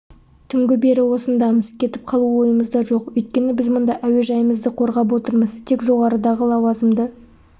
түнгі бері осындамыз кетіп қалу ойымызда жоқ өйткені біз мұнда әуежайымызды қорғап отырмыз тек жоғарыдағы лауазымды